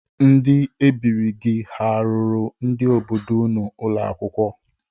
Ndị ebiri gị ha rụrụ ndị obodo unu ụlọ akwụkwọ?